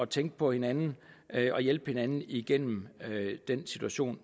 tænke på hinanden og hjælpe hinanden igennem den situation